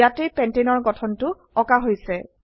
ইয়াতে পেণ্টানে এৰ গঠনটো আঁকা হৈছে